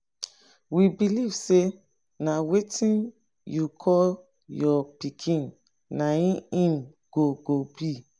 we believe say na wetin yiu call your pikin na im he go go be.